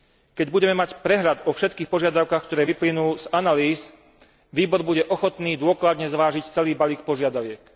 Keď budeme mať prehľad o všetkých požiadavkách, ktoré vyplynú z analýz, výbor bude ochotný dôkladne zvážiť celý balík požiadaviek.